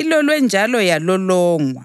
ilolwe njalo yalolongwa,